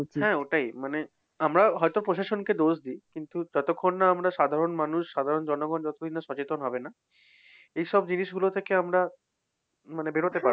হ্যাঁ ওটাই। মানে আমরা হয়তো প্রশাসনকে দোষ দিই, কিন্তু যতক্ষণ না আমরা সাধারণ মানুষ, সাধারণ জনগণ যতদিন না সচেতন হবে না, এসব জিনিসগুলো থেকে আমরা মানে বের হতে পারবো না।